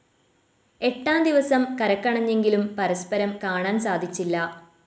എട്ടാം ദിവസം കരക്കണഞ്ഞെങ്കിലും പരസ്പരം കാണാൻ സാധിച്ചില്ല.